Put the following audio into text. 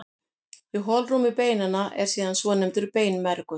Í holrúmi beinanna er síðan svonefndur beinmergur.